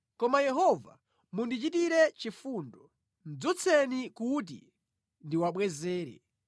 Koma Yehova mundichititre chifundo, dzutseni kuti ndiwabwezere.